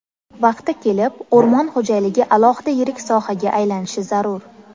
Vaqti kelib, o‘rmon xo‘jaligi alohida yirik sohaga aylanishi zarur.